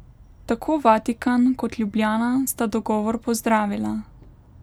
Tako Vatikan kot Ljubljana sta dogovor pozdravila.